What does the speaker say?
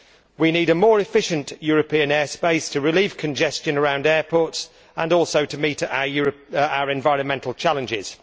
We need a more efficient European air space to relieve congestion around airports and also to meet our environmental challenges.